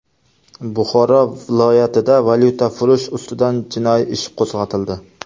Buxoro viloyatida valyutafurush ustidan jinoiy ish qo‘zg‘atildi.